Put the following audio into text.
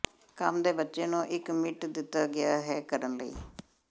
ਕੰਮ ਦੇ ਬੱਚੇ ਨੂੰ ਇੱਕ ਮਿੰਟ ਦਿੱਤਾ ਗਿਆ ਹੈ ਕਰਨ ਲਈ